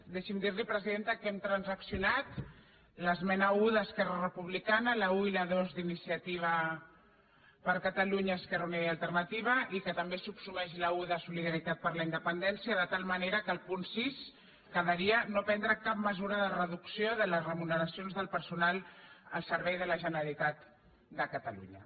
deixi’m dir li presidenta que hem transaccionat l’esmena un d’esquerra republicana la un i la dos d’iniciativa per catalunya esquerra unida i alternativa i que també es subsumeix la un de solidaritat per la independència de tal manera que el punt sis quedaria no prendre cap mesura de reducció de les remuneracions del personal al servei de la generalitat de catalunya